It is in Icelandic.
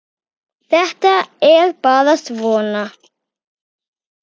Þetta er bara svona.